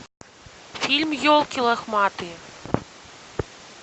фильм елки лохматые